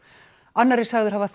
annar er sagður hafa